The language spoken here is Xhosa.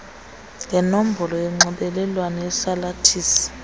ngenombolo yonxibelelwano yesalathisi